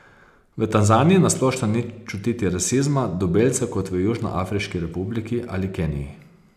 V Tanzaniji na splošno ni čutiti rasizma do belcev kot v Južnoafriški republiki ali Keniji.